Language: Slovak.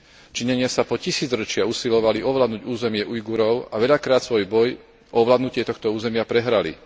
Číňania sa po tisícročia usilovali ovládnuť územie Ujgurov a veľakrát svoj boj o ovládnutie tohto územia prehrali.